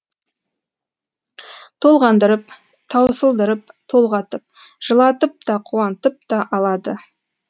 толғандырып таусылдырып толғатып жылатып та қуантып та алады